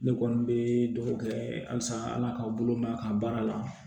Ne kɔni bɛ dugawu kɛ halisa ala k'aw bolo ma a ka baara la